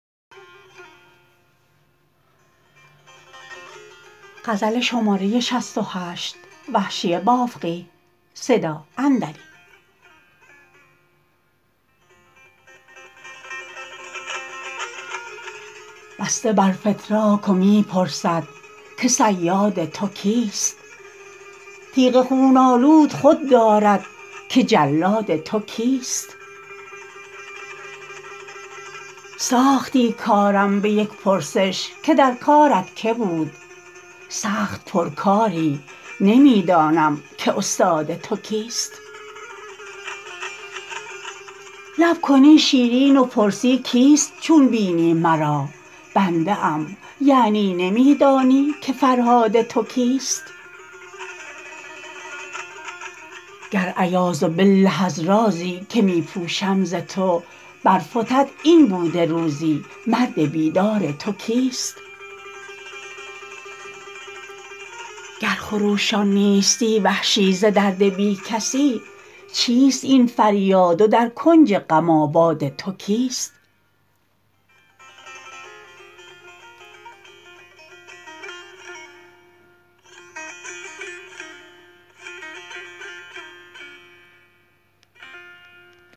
بسته بر فتراک و می پرسد که صیاد تو کیست تیغ خون آلود خود دارد که جلاد تو کیست ساختی کارم به یک پرسش که در کارت که بود سخت پرکاری نمی دانم که استاد تو کیست لب کنی شیرین و پرسی کیست چون بینی مرا بنده ام یعنی نمی دانی که فرهاد تو کیست گر عیاذبالله از رازی که می پوشم ز تو برفتد این بوده روزی مرد بیدار تو کیست گر خروشان نیستی وحشی ز درد بی کسی چیست این فریاد و در کنج غم آباد تو کیست